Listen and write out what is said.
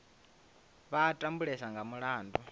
vha a tambulesa nga mulandu